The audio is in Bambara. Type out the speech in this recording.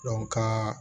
ka